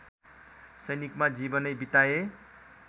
सैनिकमा जीवनै बिताए